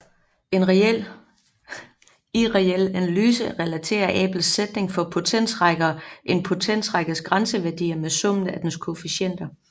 I reel analyse relaterer Abels sætning for potensrækker en potensrækkes grænseværdi med summen af dens koefficienter